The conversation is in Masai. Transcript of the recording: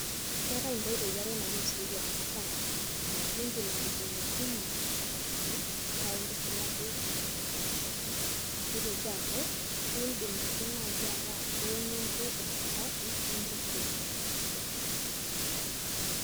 Keetae inkoitoi are nainosieki enadaa , aa indim adungdungo nchapatini paa intushulaki nena poosho , nitoki aaku indim ake nai ataa iwonyu ake enchapati nitusuj imposho .